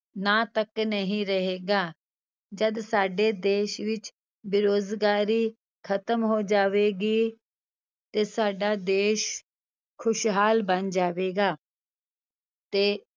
ਨਾਂ ਤੱਕ ਨਹੀਂ ਰਹੇਗਾ, ਜਦ ਸਾਡੇ ਦੇਸ ਵਿੱਚ ਬੇਰੁਜ਼ਗਾਰੀ ਖ਼ਤਮ ਹੋ ਜਾਵੇਗੀ, ਤੇ ਸਾਡਾ ਦੇਸ ਖ਼ੁਸ਼ਹਾਲ ਬਣ ਜਾਵੇਗਾ ਤੇ